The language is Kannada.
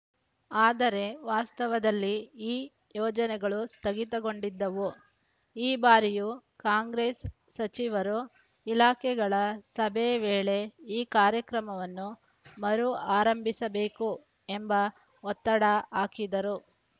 ಆದರೆ ವಾಸ್ತವದಲ್ಲಿ ಈ ಯೋಜನೆಗಳು ಸ್ಧಗಿತಗೊಂಡಿದ್ದವು ಈ ಬಾರಿಯೂ ಕಾಂಗ್ರೆಸ್‌ ಸಚಿವರು ಇಲಾಖೆಗಳ ಸಭೆ ವೇಳೆ ಈ ಕಾರ್ಯಕ್ರಮವನ್ನು ಮರು ಆರಂಭಿಸಬೇಕು ಎಂಬ ಒತ್ತಡ ಹಾಕಿದರೂ